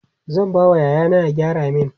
zan ba wa yaya na ya gyara min